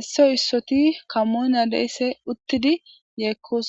issoy issoti kamoona deysse uttidi yeekkos